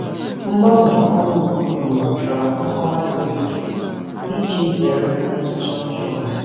Mgbanwe ọrụ ugboro ugboro chọrọ nkọwa siri ike iji zere mmetụta ọjọọ.